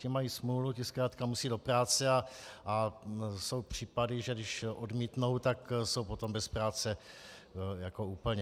Ti mají smůlu, ti zkrátka musí do práce a jsou případy, že když odmítnou, tak jsou potom bez práce úplně.